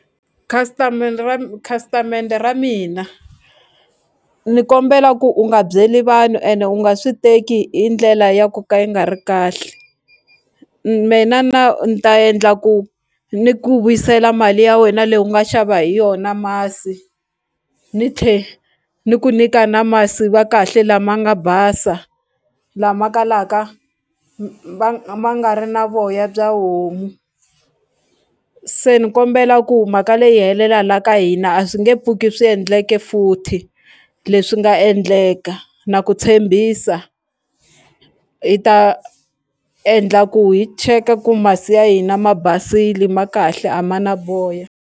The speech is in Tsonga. Khasitamende ra khasitamende ra mina ni kombela ku u nga byeli vanhu ende u nga swi teki hi ndlela ya ku ka yi nga ri kahle mina na ni ta endla ku ni ku vuyisela mali ya wena leyi u nga xava hi yona masi ni tlhe ni ku nyika na masi va kahle lama nga basa lama kalaka ma nga ri na voya bya homu se ni kombela ku mhaka leyi yi helela la ka hina mina a swi nge pfuki swi endleke futhi leswi nga endleka na ku tshembisa hi ta endla ku hi cheka ku masi ya hina ma basile ma kahle a ma na voya.